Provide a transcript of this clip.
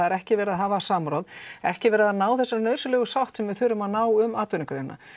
er ekki verið að hafa samráð ekki verið að ná þessari nauðsynlegu sátt sem við þurfum að ná um atvinnugreinina